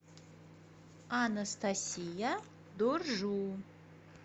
анастасия дуржу